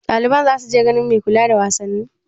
Ɗaliban za su je ganin mai kula da wasanni?